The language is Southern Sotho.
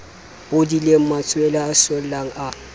bodileng matshwele a sollang a